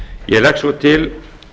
ég legg svo til